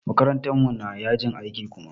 Makarantar mu na yajin aiki Kuma.